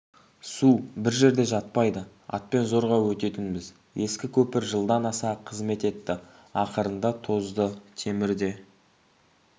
су бір жерде жатпайды атпен зорға өтетінбіз ескі көпір жылдан аса қызмет етті ақырында тозды темірде